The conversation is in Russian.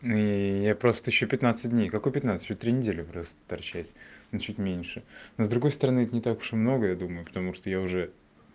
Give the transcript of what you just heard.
ну я просто ещё пятнадцать дней какой пятнадцать ещё три недели просто торчать ну чуть меньше ну с другой стороны это не так уж и много потому что я уже